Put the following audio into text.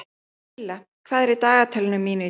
Silla, hvað er í dagatalinu mínu í dag?